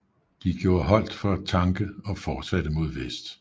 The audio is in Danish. De gjorde holdt for at tanke og fortsatte mod vest